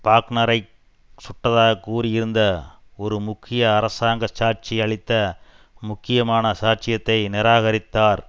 பாக்னரைச் சுட்டதாகக் கூறியிருந்த ஒரு முக்கிய அரசாங்க சாட்சி அளித்த முக்கியமான சாட்சியத்தை நிராகரித்தார்